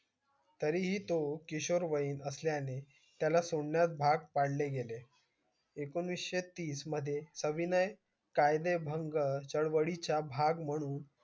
तरीही तो किशोरवयी असल्या ने त्याला सोडण्यासास भाग पडले गेले एकोणीशे तीस मध्ये अविनय कायदे भंग चवळीच्या भाग म्हणून